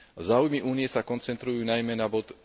Záujmy Únie sa koncentrujú najmä na bod